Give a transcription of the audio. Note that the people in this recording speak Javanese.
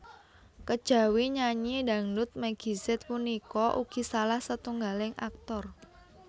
Kejawi nyanyi dhangdhut Meggy Z punika ugi salah setunggaling aktor